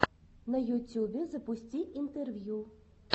на ютюбе запусти интервью